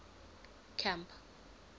camp